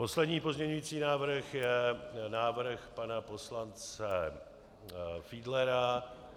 Poslední pozměňující návrh je návrh pana poslance Fiedlera.